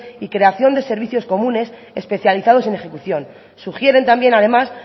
y creación de servicios comunes especializados en ejecución sugieren también además